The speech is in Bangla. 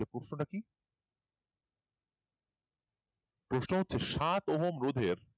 প্রশ্ন হচ্ছে সাত ওহম রোধের